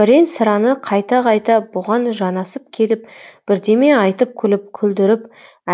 бірен сараны қайта қайта бұған жанасып келіп бірдеме айтып күліп күлдіріп